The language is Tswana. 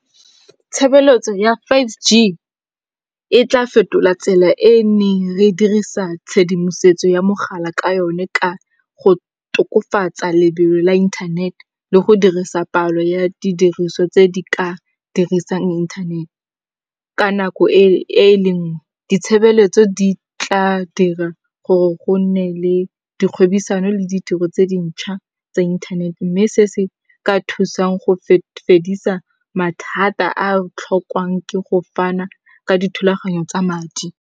Tshebeletso ya five G, e tla fetola tsela e e neng re dirisa tshedimosetso ya mogala ka yone ka go tokofatsa lebelo la inthanete le go dirisa palo ya didiriso tse di ka dirisang inthanete ka nako e le nngwe. Ditshebeletso di tla dira gore go nne le dikgwebisano le ditiro tse dintšha tsa inthanete. Mme se se ka thusang go fedisa mathata a tlhokwang ke go fana ka dithulaganyo tsa madi.